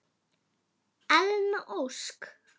Elna Ósk.